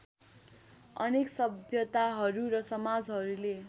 अनेक सभ्यताहरू र समाजहरूले